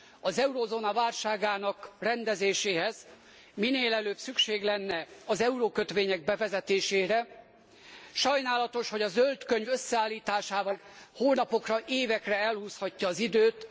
Az eurózóna válságának rendezéséhez minél előbb szükség lenne az eurókötvények bevezetésére. Sajnálatos, hogy a zöld könyv összeállításával az Európai Bizottság hónapokra, évekre elhúzhatja az időt.